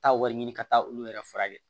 Taa wari ɲini ka taa olu yɛrɛ furakɛ